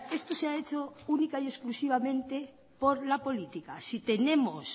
esto se ha hecho única y exclusivamente por la política si tenemos